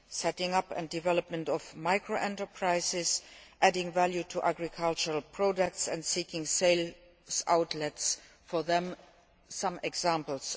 The setting up and development of micro enterprises, adding value to agricultural projects and seeking sales outlets for them are only a few examples.